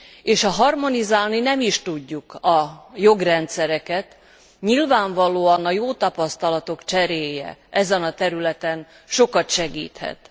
És ha harmonizálni nem is tudjuk a jogrendszereket, nyilvánvalóan a jó tapasztalatok cseréje ezen a területen sokat segíthet.